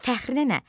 Fəxrinə nə?